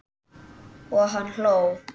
Og hann hló.